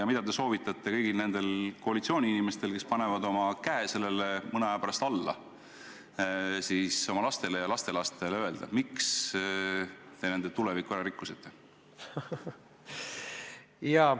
Ja mida te soovitate kõigil nendel koalitsiooni esindajatel, kes panevad oma käe sellele mõne aja pärast alla, oma lastele ja lastelastele öelda: miks te nende tuleviku ära rikkusite?